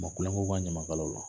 Ma kulon k'u ka ɲamakalaw la